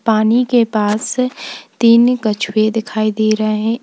पानी के पास तीन कछुए दिखाई दे रहे हैं।